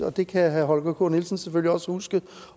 og det kan herre holger k nielsen selvfølgelig også huske